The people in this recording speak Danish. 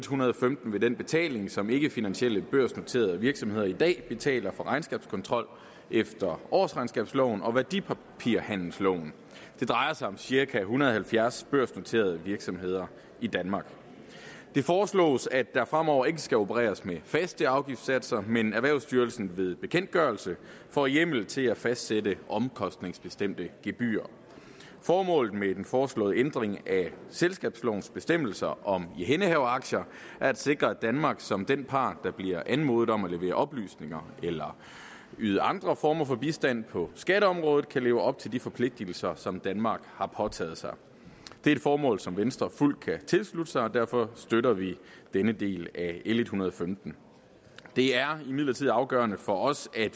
hundrede og femten ved den betaling som ikkefinansielle børsnoterede virksomheder i dag betaler for regnskabskontrol efter årsregnskabsloven og værdipapirhandelsloven det drejer sig om cirka en hundrede og halvfjerds børsnoterede virksomheder i danmark det foreslås at der fremover ikke skal opereres med faste afgiftssatser men at erhvervsstyrelsen ved bekendtgørelse får hjemmel til at fastsætte omkostningsbestemte gebyrer formålet med den foreslåede ændring af selskabslovens bestemmelser om ihændehaveraktier er at sikre at danmark som den part der bliver anmodet om at levere oplysninger eller yde andre former for bistand på skatteområdet kan leve op til de forpligtelser som danmark har påtaget sig det er et formål som venstre fuldt ud kan tilslutte sig og derfor støtter vi denne del af l en hundrede og femten det er imidlertid afgørende for os at